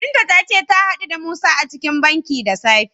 Binta ta ce ta gamu da Musa a cikin banki da safe.